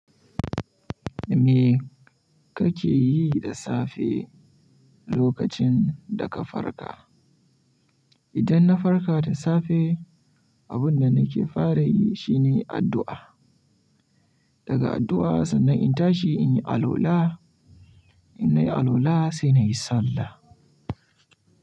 Me kake yi da safe lokacin da ka farka? Idan na farka da safe, abun da nake fara yi shine addu'a. Daga addu'a sannan in tashi in yi alwala, in nayi alwala sai na yi sallah.